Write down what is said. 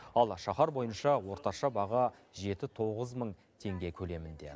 ал шаһар бойынша орташа баға жеті тоғыз мың теңге көлемінде